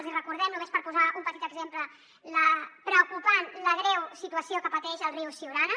els hi recordem només per posar un petit exemple la preocupant la greu situació que pateix el riu siurana